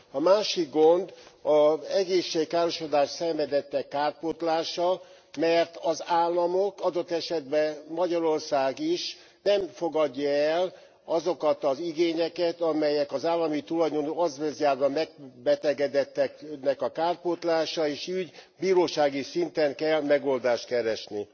A másik gond az egészségkárosodást szenvedettek kárpótlása, mert az államok adott esetben Magyarország is nem fogadja el azokat az igényeket, amelyek az állami tulajdonú azbesztgyárban megbetegedettek a kárpótlási ügyekben benyújtanak, bírósági szinten kell megoldást keresni.